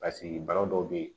Paseke bana dɔw be yen